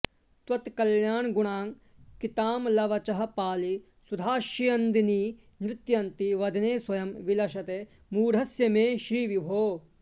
त्वत्कल्याणगुणाङ्कितामलवचःपाळी सुधास्यन्दिनी नृत्यन्ती वदने स्वयं विलसते मूढस्य मे श्रीविभो